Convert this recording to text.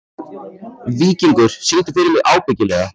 Víkingur, syngdu fyrir mig „Ábyggilega“.